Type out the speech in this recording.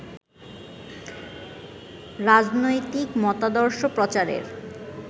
রাজনৈতিক মতাদর্শ প্রচারের